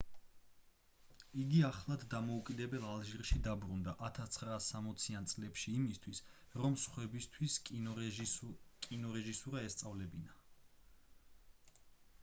იგი ახლად დამოუკიდებელ ალჟირში დაბრუნდა 1960-იან წლებში იმისთვის რომ სხვებისთვის კინორეჟისურა ესწავლებინა